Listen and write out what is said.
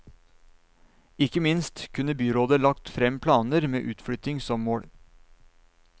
Ikke minst kunne byrådet lagt frem planer med utflytting som mål.